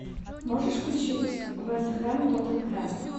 можешь включить вест хэм тоттенхэм